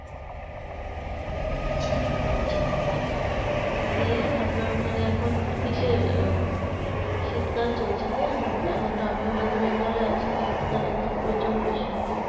দিয়ে আপনার ওখানে এখন কিসের ও শীতকাল চলছে তো এখন এখনতো আমিও West Bengal এ আছি শীতকালে তো প্রচন্ড শীত